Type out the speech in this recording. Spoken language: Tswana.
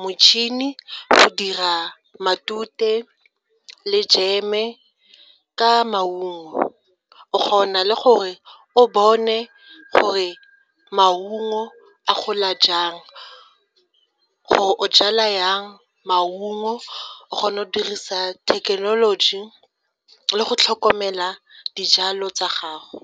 motšhini go dira matute le jeme ka maungo. O kgona le gore o bone gore maungo a gola jang, gore o jala jang maungo o kgona go dirisa thekenoloji le go tlhokomela dijalo tsa gago.